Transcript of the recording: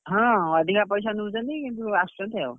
ହଁ ଅଧିକା ପଇସା ନଉଛନ୍ତି କିନ୍ତୁ ଆସୁଛନ୍ତି ଆଉ,